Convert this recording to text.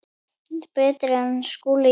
Betri en Skúli Jón?